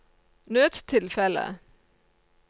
nødstilfelle